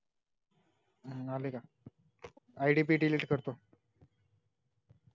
आले का, id बी delete करतो